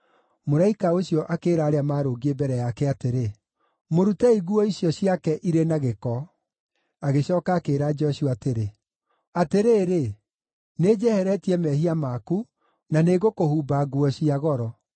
Mũraika ũcio akĩĩra arĩa maarũngiĩ mbere yake atĩrĩ, “Mũrutei nguo icio ciake irĩ na gĩko.” Agĩcooka akĩĩra Joshua atĩrĩ, “Atĩrĩrĩ, nĩnjeheretie mehia maku, na nĩngũkũhumba nguo cia goro.”